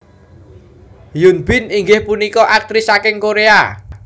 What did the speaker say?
Hyun Bin inggih punika aktris saking Koréa